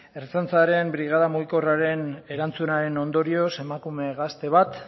ertzaintzaren brigada mugikorraren erantzunaren ondorioz emakume gazte bat